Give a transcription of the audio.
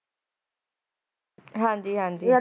ਹਾਜੀ ਹਾਜੀ ਜਾ ਘਰ ਦੇ ਵਿਚ ਹਮ